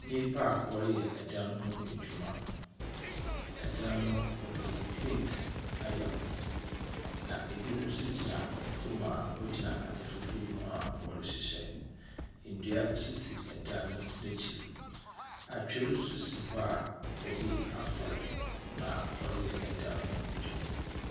Nnipa a wɔreyɛ dan ho adwuma. Dan no wɔdze paint ayɛ ho. Na ebi nso gyina fam a wɔgyina adze fufuw bi ho a wɔrehyehyɛ. Ndua nso si dan no n'akyir. Atwer nso si hɔ obi afow na ɔreyɛ dan no ho adwuma.